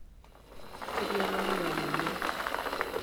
keiriamari o ninye